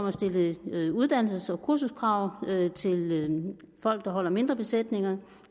at stille uddannelses og kursuskrav til folk der holder mindre besætninger